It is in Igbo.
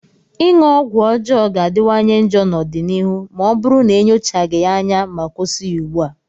ịṅụ ọgwụ ọjọọ ga-adịwanye njọ n'ọdịnihu ma ọ bụrụ na enyochaghị ya anya ma kwụsị ya ugbua.